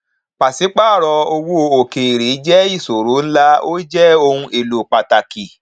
pàṣípàrọ owó òkèèrè jẹ ìṣòro ńlá ó jẹ ohun èlò pàtàkì